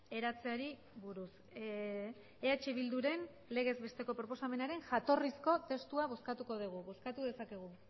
eratzeari buruz eh bilduren legez besteko proposamenaren jatorrizko testua bozkatuko dugu bozkatu dezakegu